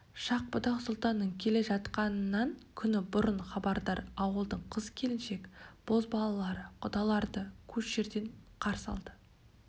шах-будақ сұлтанның келе жатқанынан күні бұрын хабардар ауылдың қыз-келіншек бозбалалары құдаларды көш жерден қарсы алды